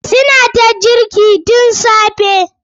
Su na ta girki tun safe.